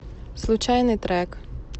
случайный трек